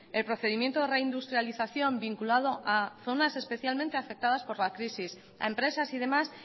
el procedimiento de reindustrialización vinculado a zonas especialmente afectadas por la crisis a empresas y demás